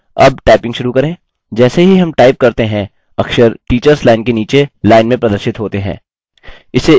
जैसे ही हम टाइप करते हैं अक्षर टीचर्स लाइन के नीचे लाइन में प्रदर्शित होते हैं